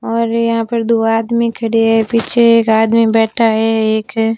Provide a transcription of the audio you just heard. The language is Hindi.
और यहां पर दो आदमी खड़े हैं पीछे एक आदमी बैठा है एक--